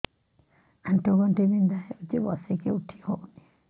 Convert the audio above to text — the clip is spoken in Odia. ଆଣ୍ଠୁ ଗଣ୍ଠି ବିନ୍ଧା ହଉଚି ବସିକି ଉଠି ହଉନି